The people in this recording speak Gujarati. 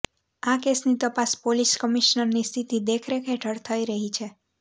આ કેસની તપાસ પોલીસ કમિશનરની સીધી દેખરેખ હેઠળ થઈ રહી છે